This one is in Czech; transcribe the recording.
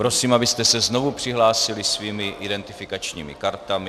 Prosím, abyste se znovu přihlásili svými identifikačními kartami.